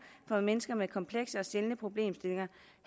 for mennesker med komplekse og sjældne problemstillinger